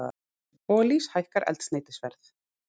Olís hækkar eldsneytisverð